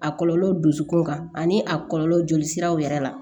A kɔlɔlɔ dusukun kan ani a kɔlɔlɔ joli siraw yɛrɛ la